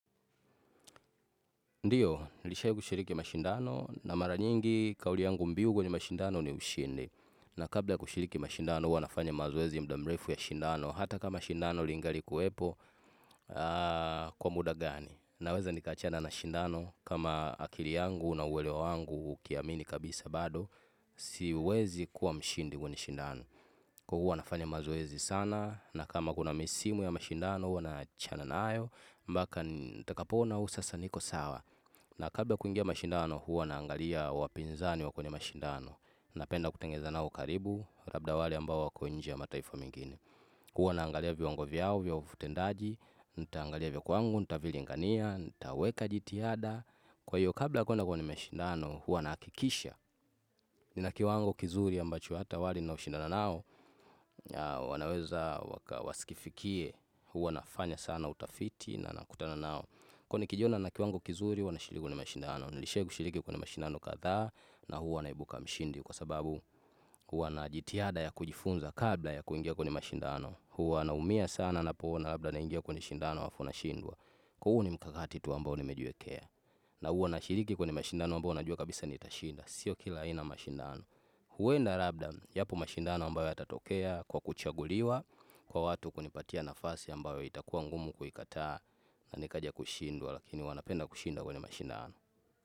Ndiyo, nishai kushiriki mashindano na mara nyingi kauli yangu mbiu kwenye mashindano ni ushindi. Na kabla kushiriki mashindano huwa nafanya mazoezi muda mrefu ya shindano. Hata kama shindano lingalikuepo kwa muda gani. Naweza nikaachana na shindano kama akili yangu na uwelewa wangu ukiamini kabisa bado. Siwezi kuwa mshindi kwenye shindano. Kwa huwa nafanya mazoezi sana na kama kuna misimu ya mashindano huwa naachana nayo. Mbaka takapona usasa niko sawa. Na kabla kuingia mashindano huwa naangalia wapinzani wa kwenye mashindano. Napenda kutengeneza nao ukaribu, labda wale ambao wako nchi ya mataifa mengine. Huwa naangalia viwango vyao vya utendaji, nitaangalia vya kwangu, nitavilingania, nitaweka jitihada. Kwa hiyo kabla kwenda kwenye mashindano huwa nahakikisha. Ni na kiwango kizuri ambacho hata wale naoshindana nao, wanaweza wasikifikie huwa nafanya sana utafiti na nakutana nao. Kuwa nikijona na kiwango kizuri huwa na shiriki ni mashindano, nilishai kushiriki kwa ni mashindano kadhaa na huwa naibuka mshindi kwa sababu huwa najitiada ya kujifunza kabla ya kuingia kwenye mashindano, huwa naumia sana napoona naingia kwenye shindano alafu nashindwa. Kuwa huu ni mkakati tu ambao nimejiwekea na huwa na shiriki kwenye mashindano ambayo najua kabisa nitashinda, sio kila aina ya mashindano. Huenda labda yapo mashindano ambayo yatatokea kwa kuchaguliwa kwa watu kunipatia nafasi ambayo itakuwa ngumu kuikataa na nikaja kushindwa lakini huwa napenda kushinda kwenye mashindano.